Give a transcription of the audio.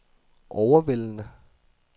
overvældende